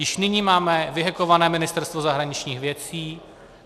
Již nyní máme vyhekované Ministerstvo zahraničních věcí.